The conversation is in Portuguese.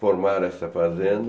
Formaram essa fazenda.